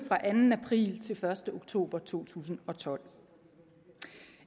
fra anden april til første oktober to tusind og tolv